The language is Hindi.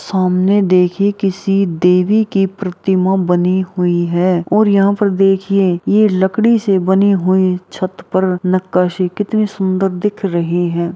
सामने देखिए किसी देवी की प्रतिमा बनी हुई है और यहाँ पर देखिए ये लकड़ी से बनी हुई छत पर नक्काशी कितनी सुंदर दिख रही है।